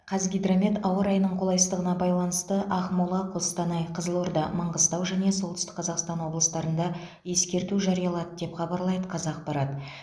қазгидромет ауа райының қолайсыздығына байланысты ақмола қостанай қызылорда маңғыстау және солтүстік қазақстан облыстарында ескерту жариялады деп хабарлайды қазақпарат